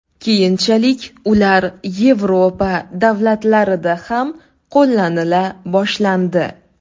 Keyinchalik ular Yevropa davlatlarida ham qo‘llanila boshlandi.